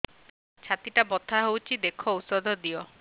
ଛାତି ଟା ବଥା ହଉଚି ଦେଖ ଔଷଧ ଦିଅ